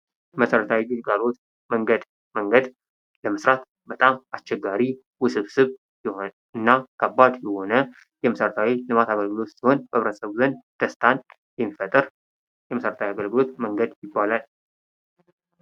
መሠረታዊ ግልጋሎት መንገድ ለመስራት በጣም አስቸጋሪ ውስብስብ የሆነ እና ከባድ የሆነ የመሠረታዊ ልማት አገልግሎት ሲሆን፤ በብሔረሰቡ ዘንድ ደስታን የሚፈጥር የመሠረታዊ አገልጋሎት መንገድ ይባላል።